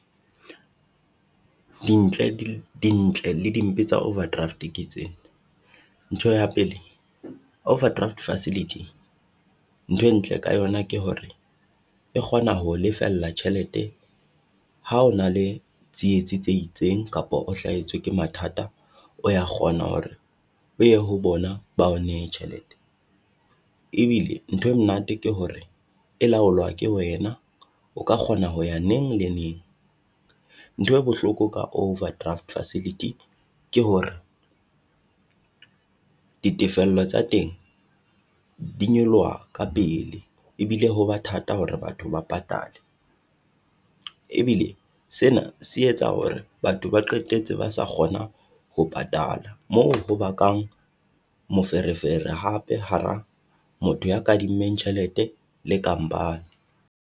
Dintle di dintle le dimpe tsa overdraft ke tsena, ntho ya pele overdraft facility nthwe e ntle ka yona ke hore e kgona ho o lefella tjhelete. Ha o na le tsietsi tse itseng kapa o hlahetswe ke mathata, o ya kgona hore ho ya ho bona bao nehe tjhelete, ebile ntho e monate ke hore e laolwa ke wena o ka kgona ho ya neng le neng. Ntho e bohloko ka overdraft facility ke hore ditefello tsa teng di nyoloha ka pele, ebile ho ba thata hore batho ba patale. Ebile sena se etsa hore batho ba qetetse ba sa kgona ho patala moo ho bakang moferefere hape hara motho ya kadimmeng tjhelete le company.